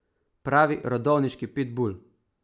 Pravi rodovniški pitbul.